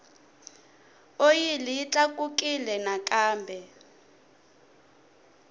oyili yi tlakukile nakambe